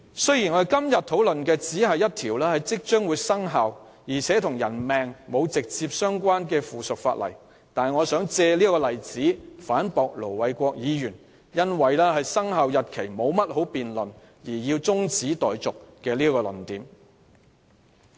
雖然今天討論的只是一項即將生效、且與人命沒有直接關係的附屬法例，我想借這個例子反駁盧偉國議員以"沒有必要就生效日期多作辯論"而動議中止待續這個論點。